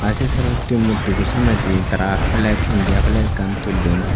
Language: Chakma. aie sorosutti mutti bo samnedi tara flek indya flek ekkan tullon.